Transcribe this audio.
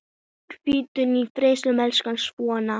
Hvíldu í friði, elsku Svana.